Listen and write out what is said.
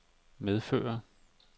medføre